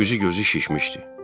Üzü gözü şişmişdi.